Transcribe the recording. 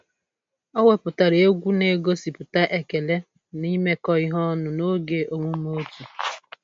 O webatara egwu na-egosipụta ekele na imekọ ihe ọnụ n'oge omume otu